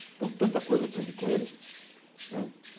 Então, tanta coisa eu aprendi com ele. Né